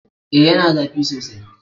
E, yana zafi sosai.